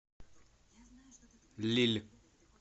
лилль